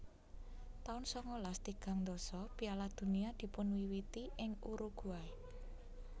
taun sangalas tigang dasa Piala Dunia dipunwiwiti ing Uruguay